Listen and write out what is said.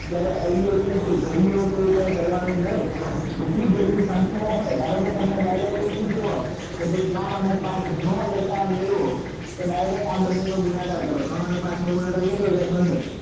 ત્યારે અવવયી કે ઘડીઓ કે એવું કઈ કરવા નું નહી જેટલી જેટલી સંખ્યાઓ હોય ધારોકે તમને direct આવું કીધું હોય કે ભાઈ ત્રણ અને પાંચ નો લસા અ મેળવો તો direct આ બંને નો ગુણાકાર કરો ત્રણ અને પાંચ નો ગુણાકાર કેટલો થાય પંદર